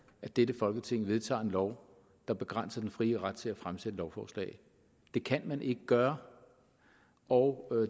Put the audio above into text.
at dette folketing vedtager en lov der begrænser den frie ret til at fremsætte lovforslag det kan man ikke gøre og